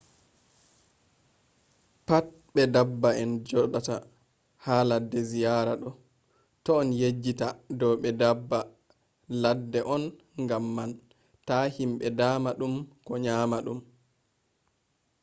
pat be daabba en joɗata ha ladde ziyara ɗo ta on yejjita dow ɓe daabba ladde on gam man ta himɓe dama ɗum ko nyamna ɗum